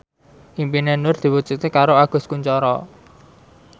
impine Nur diwujudke karo Agus Kuncoro